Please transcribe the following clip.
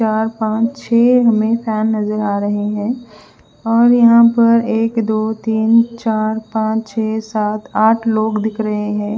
चार पाच छेह हमे फेन नजर आ रहे है और यहा पर एक दो तिन चार पाच छेह सात आठ लोग दिख रहे है।